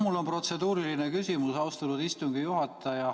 Mul on protseduuriline küsimus, austatud istungi juhataja.